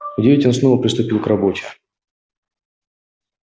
в девять он снова приступил к работе